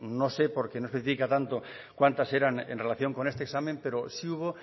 no sé porque no especifica tanto cuántas eran en relación con este examen pero sí hubo